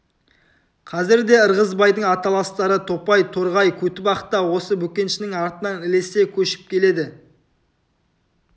қазірде ырғызбайдың аталастары топай торғай көтібақ та осы бөкеншінің артынан ілесе көшіп келеді